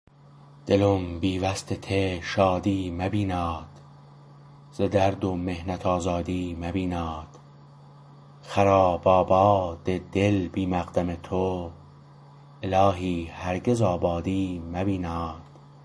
دلم بی وصل ته شادی مبیناد ز درد و محنت آزادی مبیناد خراب آباد دل بی مقدم تو الهی هرگز آبادی مبیناد